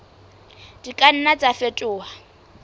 di ka nna tsa fetoha